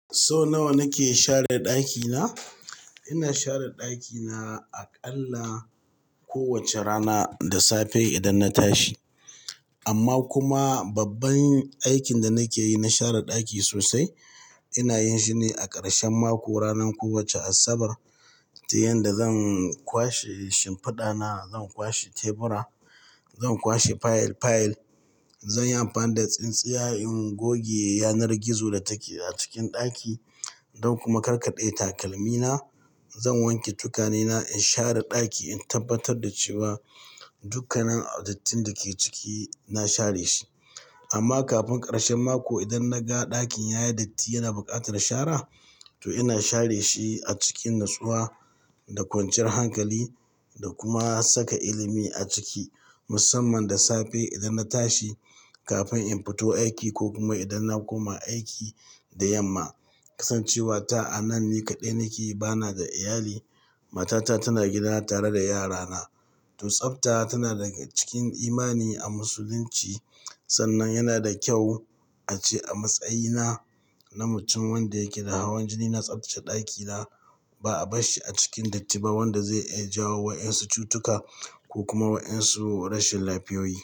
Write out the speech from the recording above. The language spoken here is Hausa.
So nawa nake share ɗakina? Ina share ɗakina aƙalla kowace rana da safe idan na tashi. Amma kuma babban aikin da nake yi na share ɗaki sosai ina yin shi ne a ƙarshen mako, ranar kowace Asabar. Ta yanda zan kwashe shimfiɗa na, zan kwashe tebura, zan kwashe fayil fayil, zan yi amfani da tsintsiyar ingoge yanar gizo da take a cikin ɗaki don kuma karkaɗe takalmina. Zan wanke tukane na in share ɗaki in tabbatar da cewa dukkanin dattin da ke ciki na share shi. Amma kafin ƙarshen mako idan naga ɗakin yayi datti yana buƙatar share to ina share shi a cikin natsuwa da kwanciyar hankali da kuma saka ilimi a ciki musamman da safe idan na tashi kafin in fito aiki ko kuma idan na koma aiki da yamma. Kasancewa ta'ana ni kaɗai nake bana da iyali, matata tana gida tare da yarana. To tsabta tana daga cikin imani a musulunci sannan yana da kyau ace a matsayina na mutum wanda yake da hawan jini na tsaftace ɗakina ba'a barshi a cikin datti ba wanda zai iya jawo wa ƴan su cutuka ko kuma wa ƴan rashin lafiyoyi.